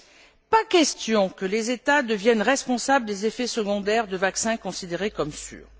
Il n'est pas question que les États deviennent responsables des effets secondaires de vaccins considérés comme sûrs.